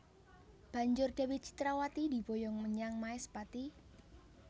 Banjur Dewi Citrawati diboyong menyang Maespati